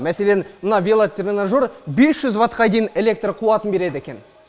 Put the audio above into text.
мәселен мына велотренажер бес жүз ватт қа дейін электр қуатын береді екен